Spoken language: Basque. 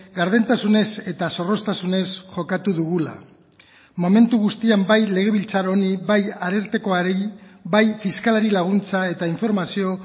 gardentasunez eta zorroztasunez jokatu dugula momentu guztian bai legebiltzar honi bai arartekoari bai fiskalari laguntza eta informazio